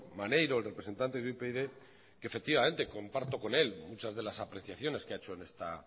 maneiro el representante de upyd que efectivamente comparto con él muchas de las apreciaciones que ha hecho en esta